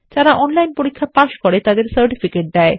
যারা অনলাইন পরীক্ষা পাস করে তাদের সার্টিফিকেট দেয়